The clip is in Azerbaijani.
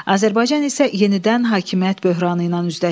Azərbaycan isə yenidən hakimiyyət böhranı ilə üzləşdi.